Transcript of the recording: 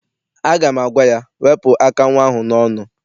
Aga m agwa ya, wepụ aka nnwa ahụ n'ọnụ!